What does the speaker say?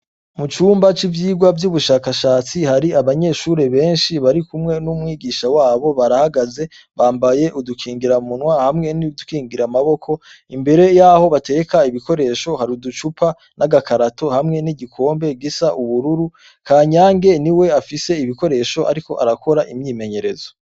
Mu cumba c'ivyigwa vy'ubushakashatsi hari abanyeshure benshi bari kumwe n'umwigisha wabo barahagaze bambaye udukingiramunwa hamwe n'idukingiramaboko imbere y'aho batereka ibikoresho hari uducupa n'agakarato hamwe n'igikombe gisa n'ubururu Kanyange ni we afise ibikoresho ariko arakora imyimenyerezo.